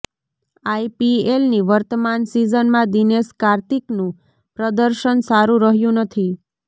આઇપીએલની વર્તમાન સીઝનમાં દિનેશ કાર્તિકનું પ્રદર્શન સારું રહ્યું નથી